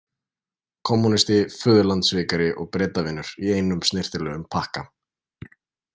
Kommúnisti, föðurlandssvikari og Bretavinur í einum snyrtilegum pakka.